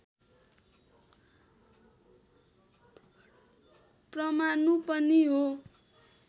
परमाणु पनि हो